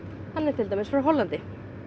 hann er til dæmis frá Hollandi